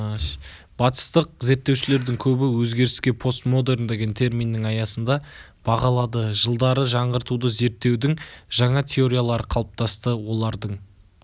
батыстық зерттеушілердің көбі өзгеріске постмодерн деген терминнің аясында бағалады жылдары жаңғыртуды зерттеудің жаңа теориялары қалыптасты олардың